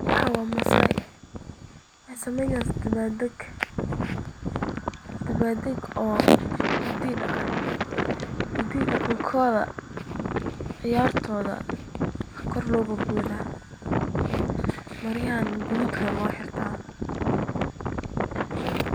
Waxaan waa masaay, waxeey saneynayaan dabaal dag, hidaha iyo daqankooda ayaa kor loo booda, maryaha gaduudka loo xirtaa.